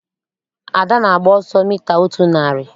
Ada na-agba ọsọ mita otu narị.